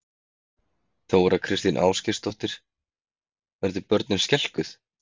Þóra Kristín Ásgeirsdóttir: Urðu börnin skelkuð?